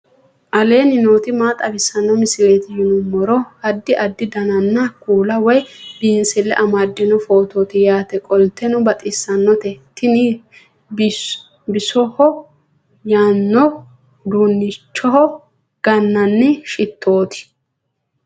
aleenni nooti maa xawisanno misileeti yinummoro addi addi dananna kuula woy biinsille amaddino footooti yaate qoltenno baxissannote tini bisoho yaano uduunneho ga'ninanni shittooti